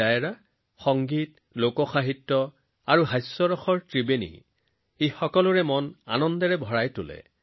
লোকসংগীত লোকসাহিত্য আৰু হাস্যৰসৰ ত্ৰিত্বই এই ডায়েৰাত সকলোৰে মন আনন্দৰে ভৰাই তোলে